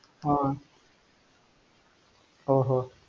ஆஹ் ஓஹோ